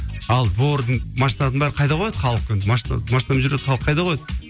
ал двордың машинасын бәрін қайда кояды халық енді машина машинамен жүрген халық қайда қояды